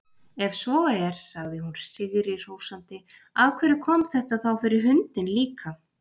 Ef svo er, sagði hún sigri hrósandi, af hverju kom þetta þá fyrir hundinn líka?